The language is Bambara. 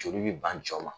Joli bi ban jɔ ma